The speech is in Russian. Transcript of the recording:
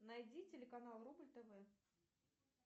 найди телеканал рубль тв